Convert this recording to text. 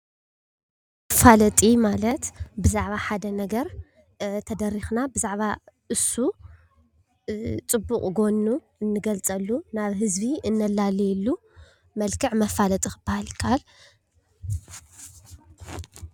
መፋለጢ ማለት ብዛዕባ ሓደ ነገር ተደርኽና ብዛዕባ እሱ ፅቡቅ ጎኒ እናገልፅ ናብ ህዝቢ እነላልየሉ መልክዕ መፋለጢ ክባሃል ይካኣል፡፡